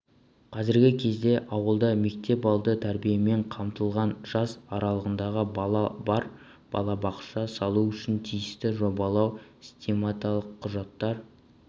қазіргі кезде ауылда мектепалды тәрбиемен қамтылмаған жас аралығындағы бала бар балабақша салу үшін тиісті жобалау-сметалық құжаттар